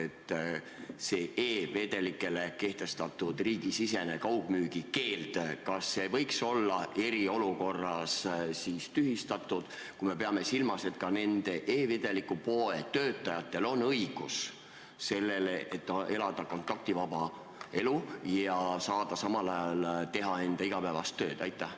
Kas see e-vedelikele kehtestatud riigisisene kaugmüügi keeld võiks olla eriolukorras tühistatud, kui me peame silmas, et ka e-vedeliku poe töötajatel on õigus elada kontaktivaba elu ja samal ajal teha enda igapäevast tööd?